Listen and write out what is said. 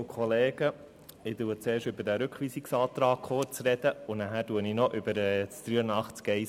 Ich spreche zuerst über den Rückweisungsantrag, dann über Artikel 83 Absatz 1 Buchstabe h.